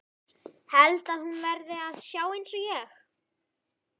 Held að hún verði að sjá einsog ég.